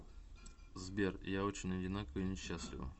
сбер я очень одинока и несчастлива